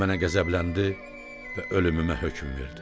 O mənə qəzəbləndi və ölümümə hökm verdi.